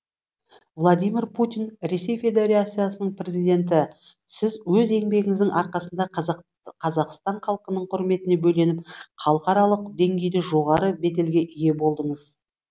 владимир путин ресей федерациясының президенті сіз өз еңбегіңіздің арқасында қазақстан халқының құрметіне бөленіп халықаралық деңгейде жоғары беделге ие болдыңыз